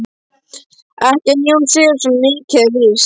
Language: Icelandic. Ekki hann Jón Sigurðsson, svo mikið er víst.